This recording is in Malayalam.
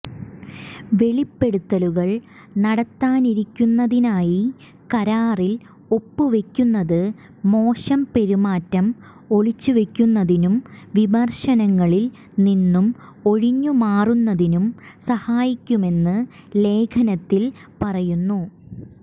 വെളിപ്പെടുത്തലുകൾ നടത്താതിരിക്കുന്നതിനായി കരാറിൽ ഒപ്പുവയ്ക്കുന്നത് മോശം പെരുമാറ്റം ഒളിച്ചുവയ്ക്കുന്നതിനും വിമർശനങ്ങളിൽ നിന്നു ഒഴിഞ്ഞുമാറുന്നതിനും സഹായിക്കുമെന്നും ലേഖനത്തിൽ പറയുന്നു